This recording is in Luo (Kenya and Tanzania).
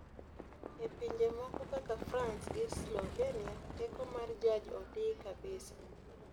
e pinje moko kaka frans gi slovenia, teko mar jaj odii kabisa